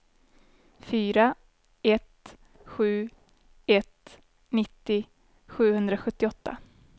fyra ett sju ett nittio sjuhundrasjuttioåtta